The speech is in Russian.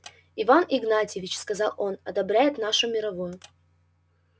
иван игнатьевич сказал он одобряет нашу мировую